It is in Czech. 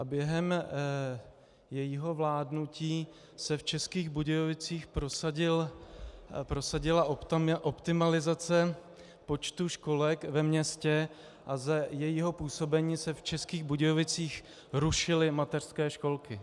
A během jejího vládnutí se v Českých Budějovicích prosadila optimalizace počtu školek ve městě a za jejího působení se v Českých Budějovicích rušily mateřské školky.